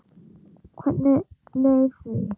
Hvernig leið því?